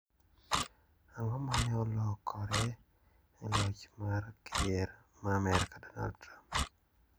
Ang`o ma ne olokore e loch mar ker ma Amerka Donald Trump?